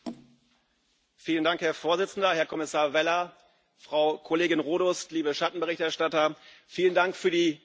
Herr Präsident, Herr Kommissar Vella, Frau Kollegin Rodust, liebe Schattenberichterstatter! Vielen Dank für die gute Zusammenarbeit.